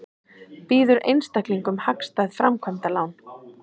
Býður einstaklingum hagstæð framkvæmdalán